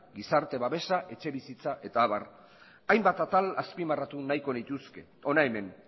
gizarte babesa etxebizitza eta abar hainbat atal azpimarratu nahiko nituzke hona hemen